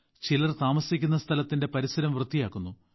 ചിലർ താമസിക്കുന്ന സ്ഥലത്തിന്റെ പരിസരം വൃത്തിയാക്കുന്നു